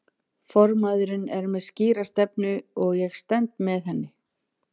Formaðurinn er með skýra stefnu og ég stend með henni.